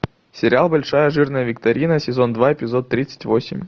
сериал большая жирная викторина сезон два эпизод тридцать восемь